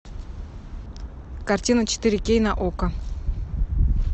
картина четыре кей на окко